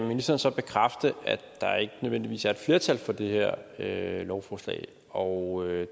ministeren så bekræfte at der ikke nødvendigvis er et flertal for det her lovforslag og